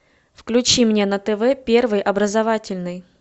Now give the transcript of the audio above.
включи мне на тв первый образовательный